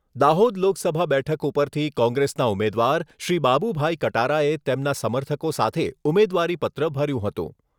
દાહોદ લોકસભા બેઠક ઉપરથી કોંગ્રેસના ઉમેદવાર શ્રી બાબુભાઈ કટારાએ તેમના સમર્થકો સાથે ઉમેદવારીપત્ર ભર્યું હતું.